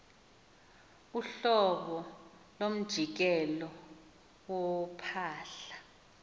uhlobo lomjikelo wophahla